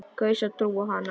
Kaus að trúa á hana.